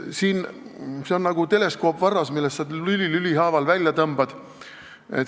See on nagu teleskoopvarras, mille sa lüli lüli haaval välja tõmbad.